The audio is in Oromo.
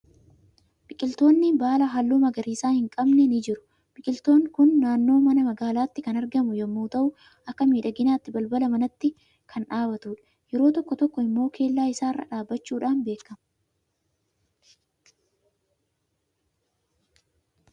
Biqiltoonni baala halluu magariisa hin qabne ni jiru. Biqiltuun kun naannoo mana magaalaatti kan argamu yommuu ta'u, akka miidhaginaatti balbala manaatti kan dhaabatudha. Yeroo tokko tokko immoo kellaa isaa irra dhaabachuudhaan beekama.